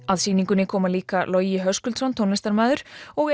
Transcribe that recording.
að sýningunni koma líka Höskuldsson tónlistarmaður og